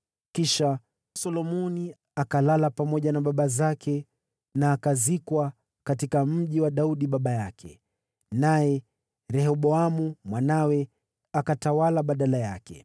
Kisha Solomoni akalala pamoja na baba zake, naye akazikwa katika mji wa Daudi baba yake. Naye Rehoboamu mwanawe akawa mfalme baada yake.